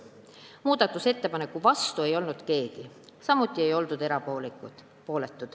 Muudatusettepaneku vastu ei olnud keegi, samuti ei olnud erapooletuid.